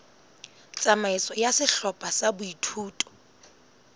tsamaiso ya sehlopha sa boithuto